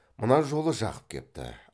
мына жолы жақып кепті